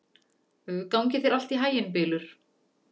Gangi þér allt í haginn, Bylur.